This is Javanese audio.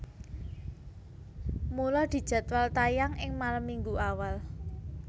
Mula dijadwal tayang ing malem Minggu awal